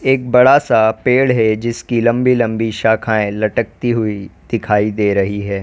एक बड़ा सा पेड़ है जिसकी लंबी लंबी शाखाएं लटकती हुई दिखाई दे रही है।